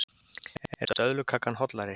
Er döðlukakan hollari?